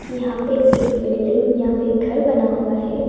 कि यहां पे एक बिल्डिंग या फिर घर बना हुआ है।